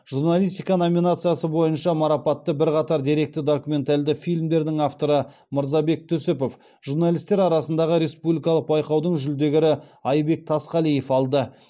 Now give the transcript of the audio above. журналистика номинациясы бойынша марапатты бірқатар деректі документальді фильмдердің авторы мырзабек түсіпов журналистер арасындағы республикалық байқаудың жүлдегері айбек тасқалиев алды